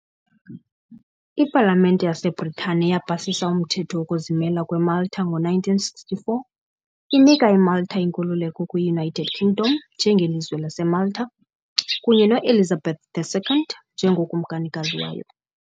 Ipalamente yaseBritane yapasisa uMthetho wokuzimela kweMalta ngo-1964, inika iMalta inkululeko kwi-United Kingdom njengeLizwe laseMalta, kunye no -Elizabeth II njengokumkanikazi wayo.